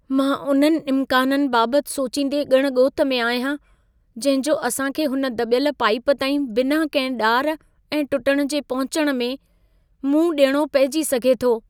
मां उननि इम्काननि बाबति सोचींदे ॻण ॻोत में आहियां, जंहिं जो असां खे हुन दॿयल पाइप ताईं बिना कंहिं ॾार ऐं टुटण जे पहुचण में मुंहं ॾियणो पहिजी सघे थो।